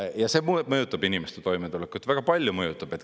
Ja see mõjutab inimeste toimetulekut, väga palju mõjutab.